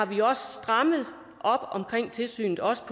vi har strammet op om tilsynet også